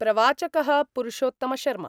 प्रवाचकः पुरुषोत्तमशर्मा